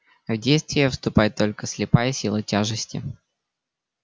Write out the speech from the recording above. в действие вступает только слепая сила тяжести